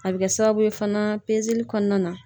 A bɛ kɛ sababu ye fana pezeli kɔnɔna na